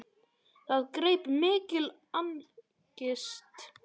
Það greip mikil angist.